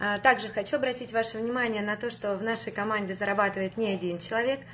так же хочу обратить ваше внимание на то что значит зарабатывает ни один человек